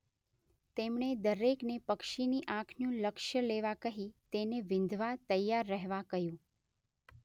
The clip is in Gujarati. તેમણે દરેકને પક્ષીની આંખનું લક્ષ્ય લેવા કહી તેને વીંધવા તૈયાર રહેવા કહ્યું.